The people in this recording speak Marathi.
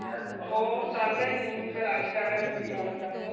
हो चाललंय नेहमीच राजकारण हया लोकांच.